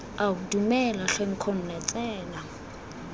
ao dumela tlhe nkgonne tsena